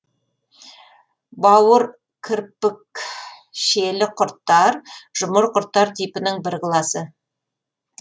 бауыркірпікшелі құрттар жұмыр құрттар типінің бір класы